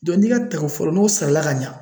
n'i ka tako fɔlɔ, n'o sarala ka ɲan.